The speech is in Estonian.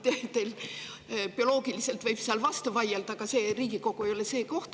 Bioloogilisest võib vastu vaielda, aga Riigikogu ei ole see koht.